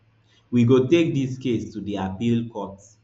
we go take dis case to di appeal court